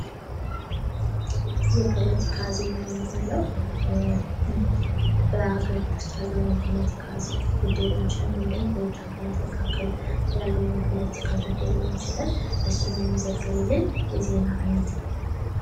የፖለቲካ ዜና የምንለው በአገሪቱ ውስጥ ያሉ የፖለቲካ ጉዳይ ሊሆን ይችላ ል ደግሞ በውጭ ሀገራት መካከል ያለው የፖለቲካ ጉዳይ ሊሆን ይችላል እሱን የሚዘግብልን የዜና አይነት ነው።